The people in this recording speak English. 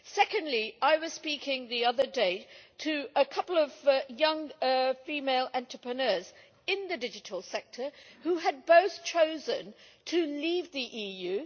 Secondly, I was speaking the other day to a couple of young female entrepreneurs in the digital sector who had both chosen to leave the EU.